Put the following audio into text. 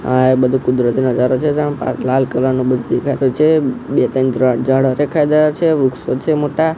આ એ બધુ કુદરતી નજરો છે જ્યાં લાલ કલર નુ બધુ દેખાતુ છે બે ત્રણ ઝાડો દેખાય રહ્યા છે વૃક્ષો છે મોટા--